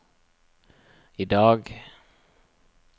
idag